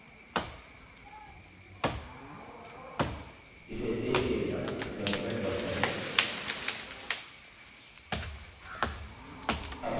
इसे सेव किये बिना डॉक्युमेंट बंद करें